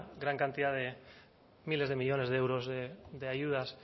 gran cantidad de miles de millónes de euros de ayudas